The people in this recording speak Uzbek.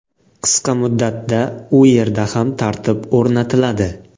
Qisqa muddatda u yerda ham tartib o‘rnatiladi.